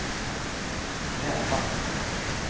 kräva